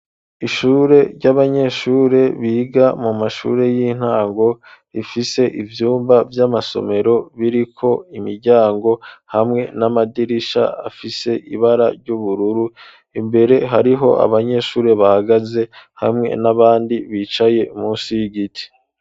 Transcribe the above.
Ishure ry'abanyeshure biga mu mashure y'intango rifise ivyumba vy'amasomero biriko imiryango hamwe n'amadirisha afise ibara ry'ubururu imbere hariho abanyeshure bahagaze hamwe n'abandi bicaye munsi y'igiti.